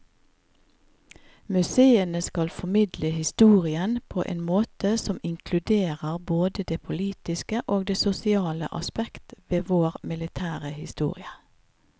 Museene skal formidle historien på en måte som inkluderer både det politiske og det sosiale aspekt ved vår militære historie.